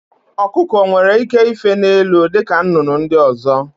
Ọkụkọ onwere ike ife n'elu dịka nnụnụ ndị ọzọ?